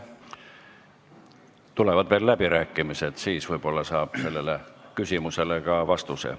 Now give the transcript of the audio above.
Tulevad veel läbirääkimised, siis võib-olla saab sellele küsimusele ka vastuse.